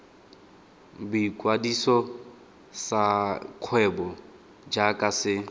boikwadiso sa kgwebo jaaka se